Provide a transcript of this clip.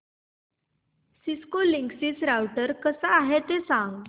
Cisco Linksys router कसा आहे ते सांग